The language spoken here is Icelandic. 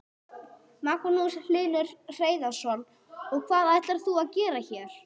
Magnús Hlynur Hreiðarsson: Og hvað ætlar þú að gera hér?